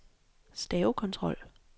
stavekontrol